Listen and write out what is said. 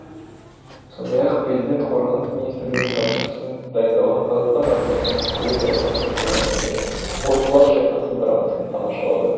сондай ақ президент қорғаныс министрлігінің тапсырысымен дайындалған қазақстан армиясының құрылуы жайлы картинаны және орбұлақ шайқасы драмасын тамашалады